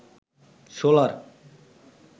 solar